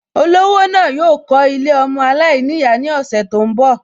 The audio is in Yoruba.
Olówó náà yóò kọ́ Ilé ọmọ aláìníyàá ní ọ̀sẹ̀ tó ń bọ̀